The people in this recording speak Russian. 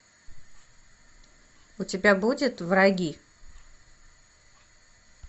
у тебя будет враги